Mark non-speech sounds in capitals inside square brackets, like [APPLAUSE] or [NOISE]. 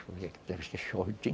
Chove [UNINTELLIGIBLE]